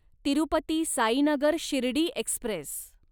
Tirupati Sainagar Shirdi Express